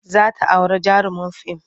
Za ta auri jarumin fim.